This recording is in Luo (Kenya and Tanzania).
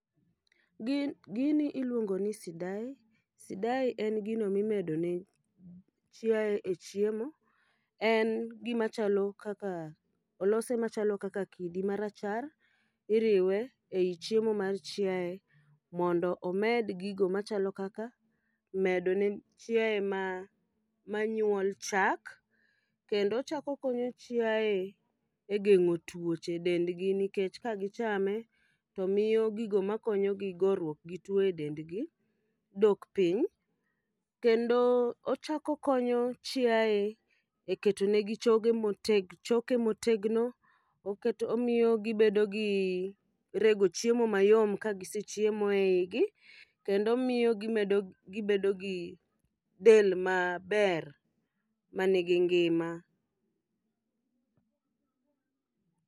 Gin gini iluongo ni Sidai, sidai en gino mimedo ne chiaye e chiemo. En gima chalo kaka olose machalo kak kidi marachar, iriwe ei chiemo mar chiaye. Mondo omed gigo machalo kaka medo ne chiaye ma manyuol chak, kendo ochako konyo chiaye e geng'o tuoche e dend g. Nikech ka gichame to miyo gigo makonyogi goruok gi tuo e dendgi, dok piny. Kendo ochako konyo chiaye e keto negi choge moteg, choke motegno. Omiyo gibedo gi rego chiemo mayom ka gisechiemo e igi, kendo miyo gimedo gibedo gi del maber ma nigi ngima.